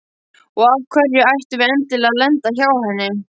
Og af hverju ættum við endilega að lenda hjá henni?